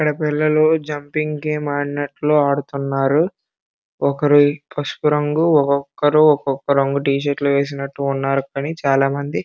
ఇక్కడ చాలా మంది పిల్లలు ఉన్నారు అందరూ ఆడుతున్నారు ఒకరు పసుపు రంగు ధరించారు.